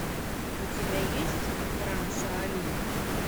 у тебя есть храм шаолинь